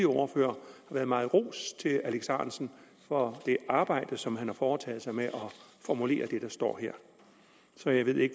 ordførere har været meget ros til herre alex ahrendtsen for det arbejde som han har foretaget sig med at formulere det der står her så jeg ved ikke